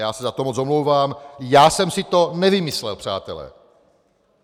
Já se za to moc omlouvám, já jsem si to nevymyslel, přátelé.